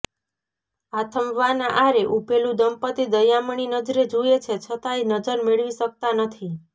આથમવાના આરે ઊભેલું દંપતી દયામણી નજરે જુએ છે છતાંય નજર મેળવી શકતાં નથી